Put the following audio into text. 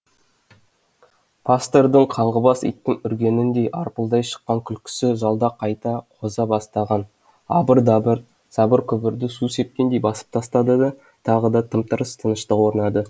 пастордың қаңғыбас иттің үргеніндей арпылдай шыққан күлкісі залда қайта қоза бастаған абыр дабыр сыбыр күбірді су сепкендей басып тастады да тағы да тым тырыс тыныштық орнады